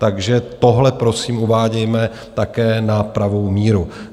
Takže tohle, prosím, uvádějme také na pravou míru.